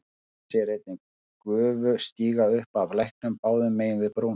Hann sér einnig gufu stíga upp af læknum báðum megin við brúna.